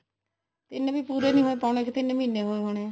ਤਿੰਨ ਵੀ ਪੂਰੇ ਨੀ ਹੋਏ ਪੋਣੇ ਕ ਤਿੰਨ ਮਹੀਨੇ ਹੋਏ ਹੋਣੇ